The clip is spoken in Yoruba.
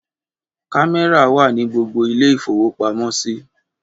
Kámẹ́rà wà ní gbogbo ilé-ìfowópamọ́sí.